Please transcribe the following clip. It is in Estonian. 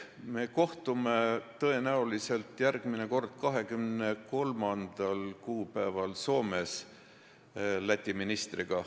Me kohtume Läti ministriga tõenäoliselt järgmine kord 23. kuupäeval Soomes.